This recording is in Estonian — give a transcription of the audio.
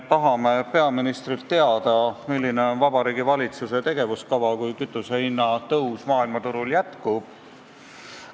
Tahame peaministrilt teada, milline on Vabariigi Valitsuse tegevuskava, kui kütusehinna tõus maailmaturul jätkub.